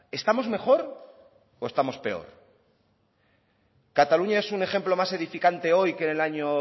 estamos mejor o estamos peor cataluña es un ejemplo más edificante hoy que en el año